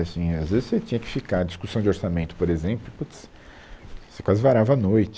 Assim, às vezes você tinha que ficar, discussão de orçamento, por exemplo, putz, você quase varava a noite.